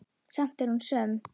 Samt er hún söm.